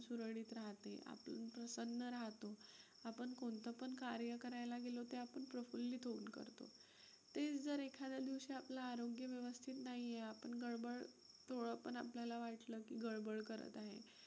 प्रसन्न राहतं. आपण कोणतं पण कार्य करायला गेलो की आपण प्रफुल्लित होऊन करतो. तेच जर एखाद्या दिवशी आपलं आरोग्य व्यवस्थित नाहीये, आपण गडबड आपल्याला वाटलं की गडबड करत आहे,